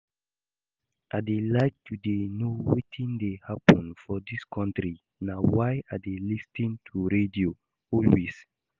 I dey like to dey know wetin dey happen for dis country na why I dey lis ten to radio always